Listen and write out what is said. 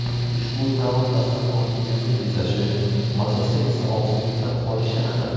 Ushbu taom dasturxoningizni bezashi, mazasi esa og‘zingizda qolishi aniq.